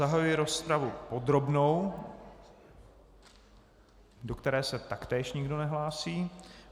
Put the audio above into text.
Zahajuji rozpravu podrobnou, do které se taktéž nikdo nehlásí.